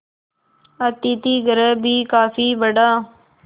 अतिथिगृह भी काफी बड़ा